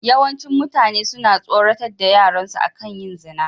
Yawancin mutane suna tsoratar da yaran su akan yin zina.